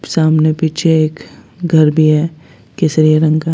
सामने पीछे एक घर भी है केसरिया रंग का।